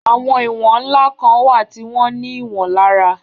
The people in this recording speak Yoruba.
Àwọn ìwọ̀n ńlá kan wà tí wọ́n ní ìwọ̀n lára